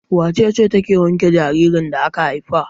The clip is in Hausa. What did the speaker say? Wace ce take wanke jaririn da aka haifa?